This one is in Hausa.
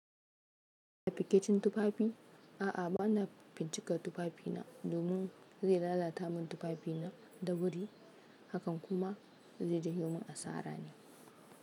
Binkicen tufafi, a'a bana bincika tufafina domin zai lalata min tufafina da wuri hakan kuma zai ja min asara ne.